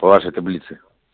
по вашей таблице